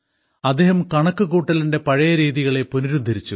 അദ്ദേഹം കണക്കുകൂട്ടലിന്റെ പഴയ രീതികളെ പുനരുദ്ധരിച്ചു